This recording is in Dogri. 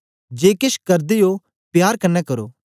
जे केछ करदे ओ प्यार कन्ने करो